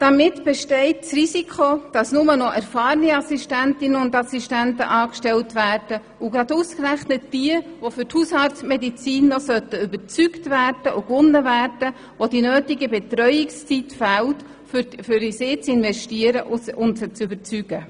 Daher besteht das Risiko, dass nur noch erfahrene Assistentinnen und Assistenten angestellt werden und dass die notwendige Betreuungszeit ausgerechnet bei denjenigen fehlt, die für die Hausarztmedizin noch gewonnen werden sollten.